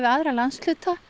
aðra landshluta